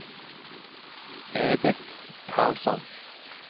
Edith Karlsson